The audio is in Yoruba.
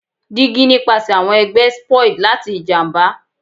Digi nipasẹ awọn ẹgbẹ spoiled lati ijamba